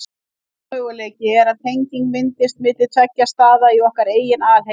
Annar möguleiki er að tenging myndist milli tveggja staða í okkar eigin alheimi.